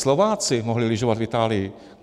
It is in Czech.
Slováci mohli lyžovat v Itálii.